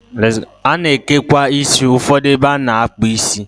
A na-ekekwa isi ụfọdụ ebe a na-akpụ isi.